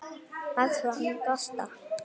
Því gastu ekki svarað.